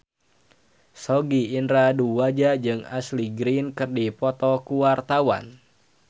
Sogi Indra Duaja jeung Ashley Greene keur dipoto ku wartawan